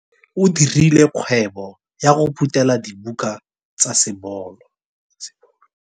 O dirile kgwebô ya go phuthêla dibuka tsa sebolo.